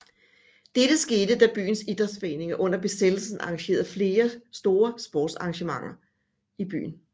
Dette skete da byens Idrætsforeninger under besættelsen arrangerede flere store sportsarrangementer i byen